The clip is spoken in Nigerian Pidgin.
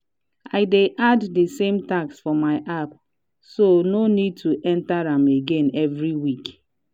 i dey add dey same task for my app so no need to enter am again every week.